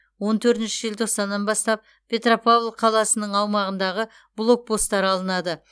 он төртінші желтоқсаннан бастап петропавл қаласының аумағындағы блокпостар алынады